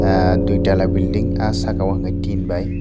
dui tala belding ah saka o hingkhe tin bai.